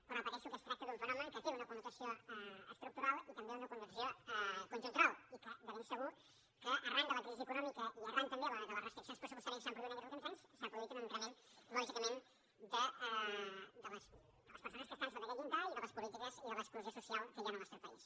però repeteixo que es tracta d’un fenomen que té una connotació estructural i també una connotació conjuntural i que de ben segur que arran de la crisi econòmica i arran també de les restriccions pressupostàries que s’ha produït aquests últims anys s’ha produït un increment lògicament de les persones que estan sota aquest llindar i de les polítiques i de l’exclusió social que hi ha en el nostre país